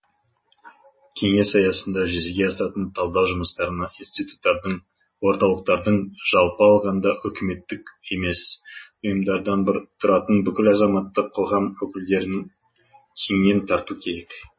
кеңес аясында жүзеге асатын талдау жұмыстарына институттардың орталықтардың жалпы алғанда үкіметтік емес ұйымдардан тұратын бүкіл азаматтық қоғам өкілдерін кеңінен тарту керек